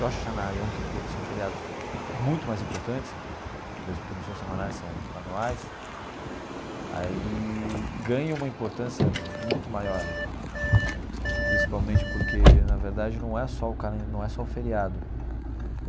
Rosh Hashanah e Yom Kippur, que são feriados muito mais importantes, mesmo porque não são semanais, são anuais, aí ganham uma importância muito maior, principalmente porque, na verdade, não é só o calen não é só o feriado.